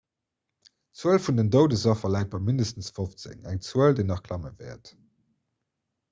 d'zuel vun den doudesaffer läit bei mindestens 15 eng zuel déi nach klamme wäert